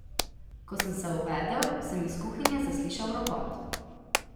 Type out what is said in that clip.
Ko sem se ovedel, sem iz kuhinje zaslišal ropot.